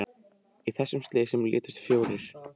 Í þessum slysum létust fjórir